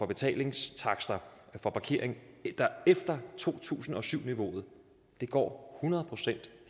betalingstakster for parkering der er efter to tusind og syv niveauet går hundrede procent